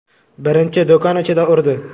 Birinchi do‘kon ichida urdi.